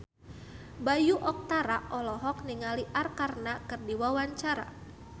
Bayu Octara olohok ningali Arkarna keur diwawancara